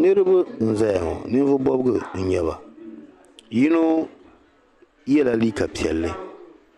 Niriba n zaya ŋɔ ninvuɣu bɔŋɔ n nyɛba yino ye la liika piɛli